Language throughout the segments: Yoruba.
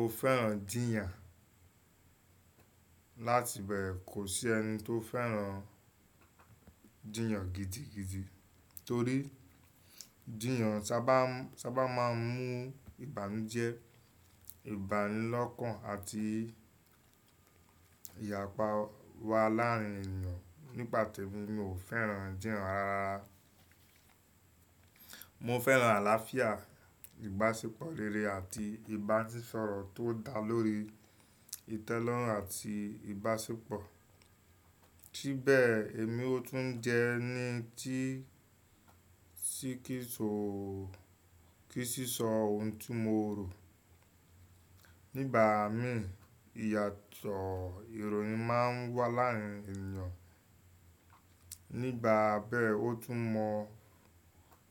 Mo fẹ́ràn jiyàn. Láti bẹ́ẹ̀ kò sí ẹni tó fẹ́ràn jiyàn gidigidi torí jiyàn sábà máa ń mú ìbànújẹ́, ìbánilọ́kàn àti ìyapa wá láàárín ènìyàn. Ní pà tẹ́mi, mi ò fẹ́ràn jiyàn rararara. Mo fẹ́ràn àlàáfíà, ìbáṣepọ̀ rere àti ìbánisọ̀rọ̀ tó dá lórí ìtẹ́lọ́rùn àti ìbáṣepọ̀. Sí bẹ́ẹ̀ èmi ó tún jẹ ẹni tí kì í sì sọ ohun tí mo rò. Nígbà mí ìyàtọ̀ ìròyìn máa ń wá láàárín ènìyàn. Nígbà bẹ́ẹ̀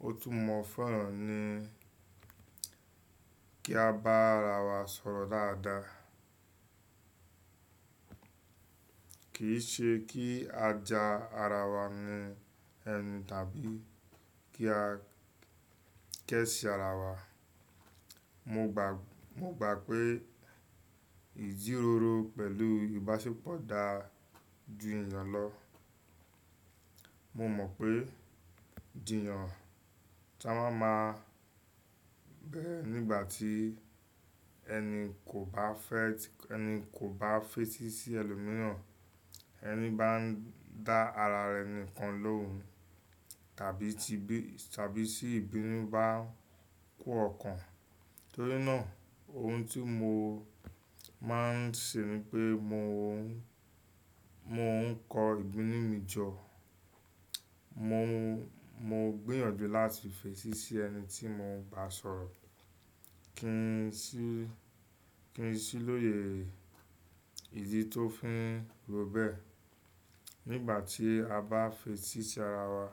ó tún mọ fẹ́ràn ni kí a bá ara wa sọ̀rọ̀ dáadáa. Kì í ṣe kí a ja ara wa ni ẹnu tàbí kí a kẹ́ṣìí ara wa. Mo gbà pé ìjíròrò pẹ̀lú ìbáṣepọ̀ dá ju ìyàn lọ. Mo mọ̀ pé jiyàn sábà máa ń bẹ́ẹ̀ nígbà tí ẹni kò bá fẹ́ tí ẹni kò bá fètì sí ẹlòmíràn, ẹni bá ń dá ara rẹ̀ nìkan lóun tàbí tí ìbínú bá kun ọkàn. Torí náà ohun tí mo máa ń ṣe ni pé mo ń kọ ìdùnnú mi jọ. Mo gbìyànjú láti fèsì sí ẹni tí mo bá sọ̀rọ̀ kí n sì lóye ìdí tó fín ro bẹ́ẹ̀. Nígbà tí a bá fèsì sí ara wa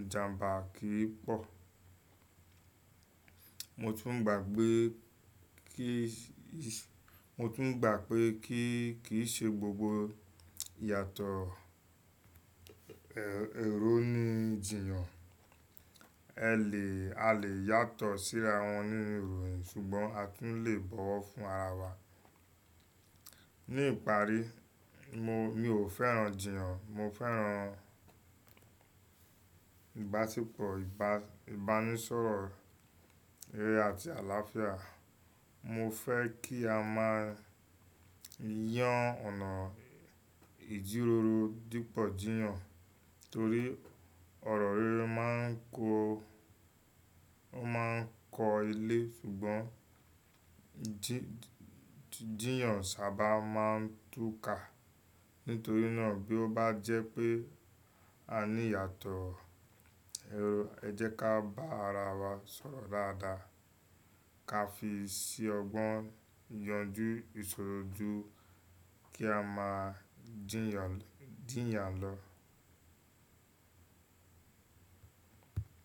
ìjàǹbà kì í pọ̀. Mo tún gbà pé kíì ṣe gbogbo ìyàtọ̀ èrò ni jiyàn. A lè yàtọ̀ sí ara wọn ní ìròyìn ṣùgbọ́n a tún le bọ̀wọ̀ fún ara wa. Ní ìparí mi ò fẹ́ràn jiyàn, mo fẹ́ràn ìbáṣepọ̀, ìbánisọ̀rọ̀ rere àti àlàáfíà. Mo fẹ́ kí a máa yán ọ̀nà ìjíròrò dípọ̀ jiyàn torí ọ̀rọ̀ rere máa ń kó ilé ṣùgbọ́n jiyàn sábà máa ń túká. Nítorí náà bí ó bá jẹ́ pé a ní ìyàtọ̀ èrò ẹ jẹ́ ká bá ara wa sọ̀rọ̀ dáadáa ká fi ṣẹ ọgbọ́n yanjú, ìṣòro jú kí a máa jiyàn lọ.